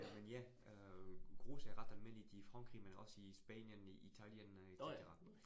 Men ja, øh grus er ret almindeligt i Frankrig, men også i Spanien, Italien et cetera